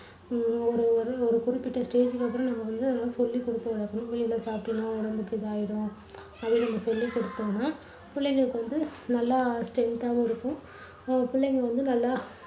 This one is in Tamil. அஹ் ஒரு ஒரு ஒரு குறிப்பிட்ட stage க்கு அப்புறம் நம்ம நல்லா சொல்லிக் குடுத்து வளக்கணும். வெளியில சாப்பிட்டேன்னா உடம்புக்கு இதாயிடும். அதை வந்து சொல்லிக் குடுத்தோம்னா புள்ளைங்களுக்கு வந்து நல்லா strength ஆவும் இருக்கும். நம்ம புள்ளைங்க வந்து நல்லா